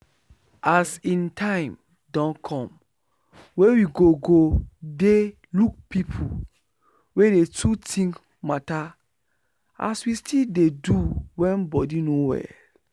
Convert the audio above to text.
as in time don come wey we go go dey look people wey dey too think matter as we still dey do wen body no well